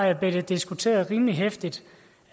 der blev det diskuteret rimelig heftigt